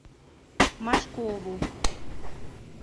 машкову